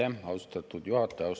Aitäh, austatud juhataja!